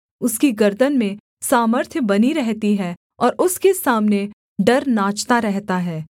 उसकी गर्दन में सामर्थ्य बनी रहती है और उसके सामने डर नाचता रहता है